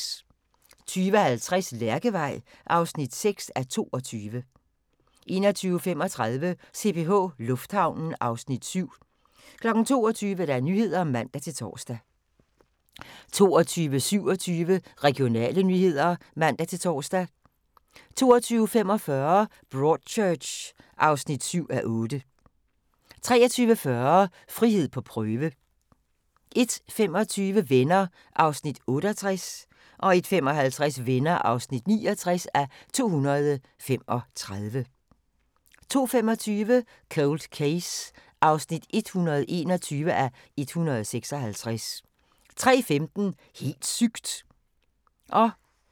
20:50: Lærkevej (6:22) 21:35: CPH Lufthavnen (Afs. 7) 22:00: Nyhederne (man-tor) 22:27: Regionale nyheder (man-tor) 22:45: Broadchurch (7:8) 23:40: Frihed på prøve 01:25: Venner (68:235) 01:55: Venner (69:235) 02:25: Cold Case (121:156) 03:15: Helt sygt!